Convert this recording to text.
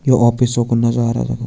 यु office कू नजारा।